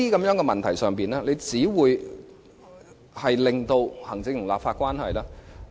在這些骨節眼上，只會令行政立法關係惡化。